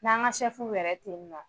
N'an ka yɛrɛ ten nɔn